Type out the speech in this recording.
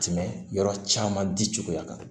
Tɛmɛ yɔrɔ caman di cogoya kan